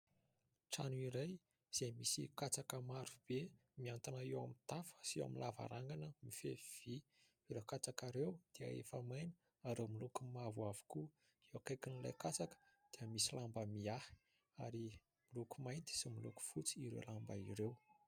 Trano iray izay misy katsaka maro be mihantona eo amin'ny tafo sy eo amin'ny lavarangana mifefy vy. Ireo katsaka ireo dia efa maina ary miloko mavo avokoa. Eo akaikin'ilay katsaka dia misy lamba mihahy ary miloko mainty sy miloko fotsy ireo lamba ireo.